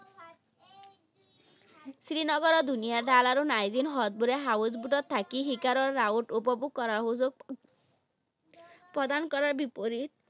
শ্ৰীনগৰৰ ধুনীয়া ডাল আৰু নাজিন হ্ৰদবোৰে house boat ত থাকি শিখৰৰ উপভোগ কৰাৰ সুযোগ প্ৰদান কৰাৰ বিপৰীত